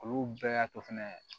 Olu bɛɛ y'a to fɛnɛ